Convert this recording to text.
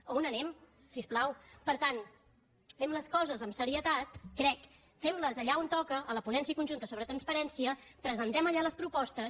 on anem si us plau per tant fem les coses amb serietat crec fem les allà on toca a la ponència conjunta sobre transparència presentem allà les propostes